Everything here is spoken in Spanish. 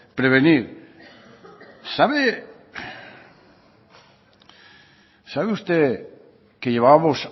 prevenir sabe usted que llevábamos